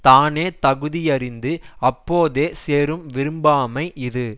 தானே தகுதியறிந்து அப்போதே சேரும் விரும்பாமை இது